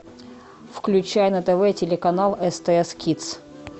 включай на тв телеканал стс кидс